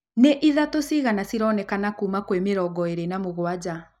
nĩithatũ cigana cironekana kuuma kwĩmĩrongo ĩrĩi na mũgwanja